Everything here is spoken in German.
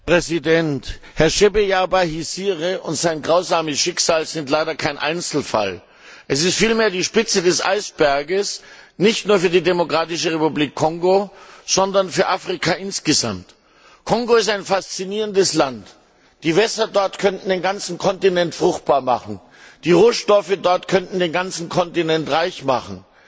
Herr Präsident! Herr Floribert Chebeya Bahizire und sein grausames Schicksal sind leider kein Einzelfall. Es ist vielmehr die Spitze des Eisbergs, nicht nur für die Demokratische Republik Kongo, sondern für Afrika insgesamt. Kongo ist ein faszinierendes Land. Die Wässer dort könnten den ganzen Kontinent fruchtbar machen. Die Rohstoffe dort könnten den ganzen Kontinent reich machen.